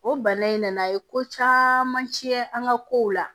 O bana in nana a ye ko caman tiɲɛ an ka kow la